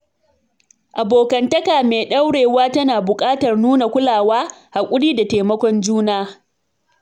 Abokantaka mai ɗorewa tana buƙatar nuna kulawa, hakuri da taimakon juna